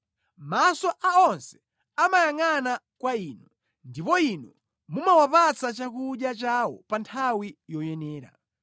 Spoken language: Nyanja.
Maso a onse amayangʼana kwa Inu, ndipo Inu mumawapatsa chakudya chawo pa nthawi yoyenera.